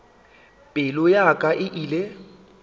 pelo ya ka e ile